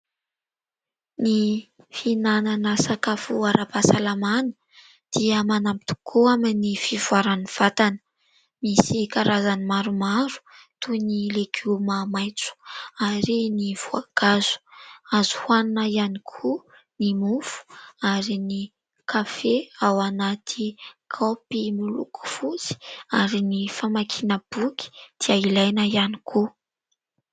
Ny fihinanana sakafo ara-pahasalamana dia manampy tokoa amin'ny fivoaran'ny vatana. Misy karazany maromaro toy ny legioma maitso ary ny voankazo, azo hohanina ihany koa ny mofo ary ny kafe ao anaty kaopy miloko fosy ary ny famakiam-boky dia ilaina ihany koa.